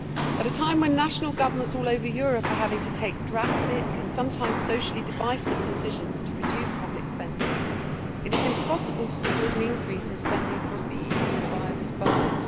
At a time when national governments all over Europe are having to take drastic and sometimes socially divisive decisions to reduce public spending, it is impossible to support an increase in spending across the EU via this budget.